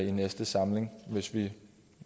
i næste samling hvis vi